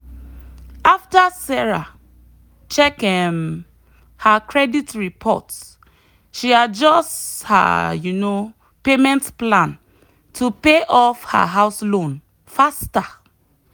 after sarah check um her credit report she adjust her um payment plan to pay off her house loan faster.